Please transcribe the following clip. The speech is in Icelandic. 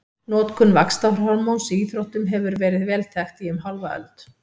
Notkun vaxtarhormóns í íþróttum hefur verið vel þekkt í um hálfa öld.